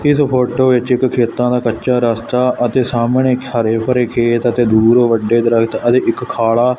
ਇਸ ਫੋਟੋ ਵਿੱਚ ਇੱਕ ਖੇਤਾਂ ਦਾ ਕੱਚਾ ਰਸਤਾ ਅਤੇ ਸਾਹਮਣੇ ਹਰੇ ਭਰੇ ਖੇਤ ਅਤੇ ਦੂਰ ਵੱਡੇ ਦਰਖਤ ਅਤੇ ਇੱਕ ਖਾੜਾ।